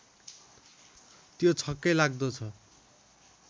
त्यो छक्कै लाग्दो छ